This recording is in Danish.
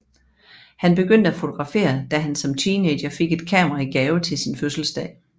Han begyndte at fotografere da han som teenager fik et kamera i gave til sin fødselsdag